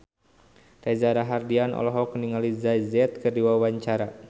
Reza Rahardian olohok ningali Jay Z keur diwawancara